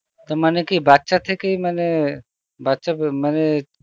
তো মানে কি বাচ্চা থেকেই মানে বাচ্চা মানে